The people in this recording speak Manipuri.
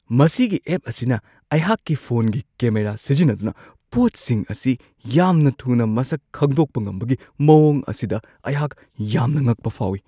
ꯃꯁꯤꯒꯤ ꯑꯦꯞ ꯑꯁꯤꯅ ꯑꯩꯍꯥꯛꯀꯤ ꯐꯣꯟꯒꯤ ꯀꯦꯃꯦꯔꯥ ꯁꯤꯖꯤꯟꯅꯗꯨꯅ ꯄꯣꯠꯁꯤꯡ ꯑꯁꯤ ꯌꯥꯝꯅ ꯊꯨꯅ ꯃꯁꯛ ꯈꯪꯗꯣꯛꯄ ꯉꯝꯕꯒꯤ ꯃꯋꯣꯡ ꯑꯁꯤꯗ ꯑꯩꯍꯥꯛ ꯌꯥꯝꯅ ꯉꯛꯄ ꯐꯥꯎꯋꯤ ꯫